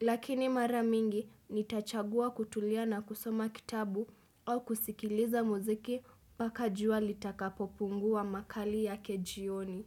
Lakini mara mingi, nitachagua kutulia na kusoma kitabu au kusikiliza muziki paka jua litakapopungua makali yake jioni.